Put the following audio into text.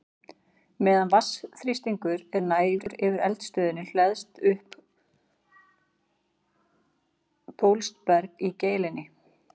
Meðan vatnsþrýstingur er nægur yfir eldstöðinni hleðst upp bólstraberg í geilinni.